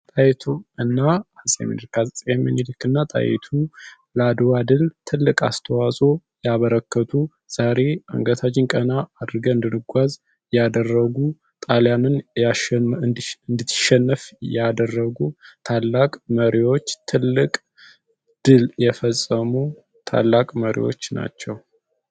አጼ ሚኒሊክ እና ጣይቱ ለአድዋ ድል ትልቅ አስተዋጽኦ ያበረከቱ ዛሬ አንገታችንን ቀና አድርገን እንድንጓዝ ያደረጉ ጣልያን እንድትሸነፍ ያደረጉ ታላቅ መሪዎች ትልቅ ድል የፈፀሙ ታላቅ መሪዎች ናቸው።